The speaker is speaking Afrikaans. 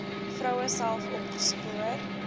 vroue self opgespoor